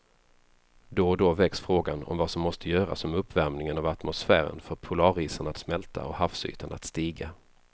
Då och då väcks frågan om vad som måste göras om uppvärmingen av atmosfären får polarisarna att smälta och havsytan att stiga.